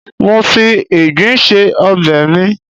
mo fi Igbin se obe mi